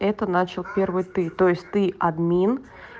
это начал первый ты то есть ты админ